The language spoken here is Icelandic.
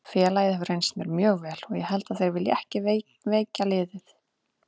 Félagið hefur reynst mér mjög vel og ég held að þeir vilji ekki veikja liðið.